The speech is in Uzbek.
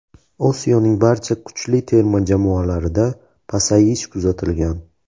Osiyoning barcha kuchli terma jamoalarida pasayish kuzatilgan.